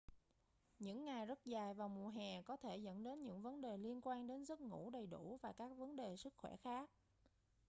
những ngày rất dài vào mùa hè có thể dẫn đến những vấn đề liên quan đến giấc ngủ đầy đủ và các vấn đề sức khỏe khác